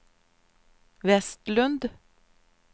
Westlund